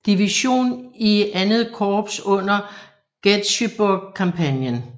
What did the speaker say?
Division i II Korps under Gettysburg kampagnen